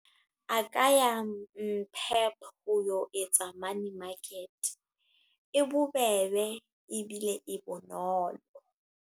A ka ya Pep. Ho yo etsa money market. E bobebe, ebile e bonolo.